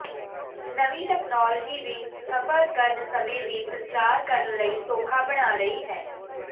ਨਵੀਂ ਤਕਨਾਲੋਜੀ ਵੀ ਸਫ਼ਰ ਕਰਨ ਸਮੇਂ ਵੀ ਸੰਚਾਰ ਕਰਨ ਲਈ ਸੌਖਾ ਬਣਾ ਰਹੀ ਹੈ